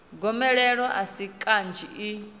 gomelelo a si kanzhi i